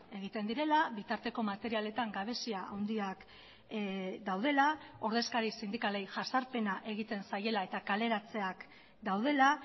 egiten direla bitarteko materialetan gabezia handiak daudela ordezkari sindikalei jazarpena egiten zaiela eta kaleratzeak daudela